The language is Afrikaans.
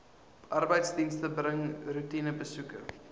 arbeidsdienste bring roetinebesoeke